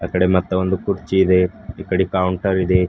ಆ ಕಡೆ ಮತ್ತೊಂದು ಕುರ್ಚಿ ಇದೆ ಈ ಕಡೆ ಕೌಂಟರ್ ಇದೆ.